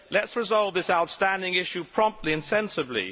Let us resolve this outstanding issue promptly and sensibly.